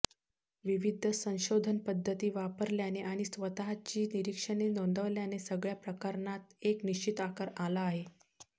विविध संशोधनपद्धती वापरल्याने आणि स्वतःची निरीक्षणे नोंदवल्याने सगळ्या प्रकरणांना एक निश्चित आकार आला आहे